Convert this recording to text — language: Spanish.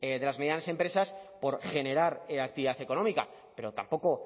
de las medianas empresas por generar actividad económica pero tampoco